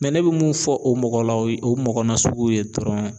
Mɛ ne bɛ mun fɔ o mɔgɔ la o ye o mɔgɔ nasugu ye dɔrɔn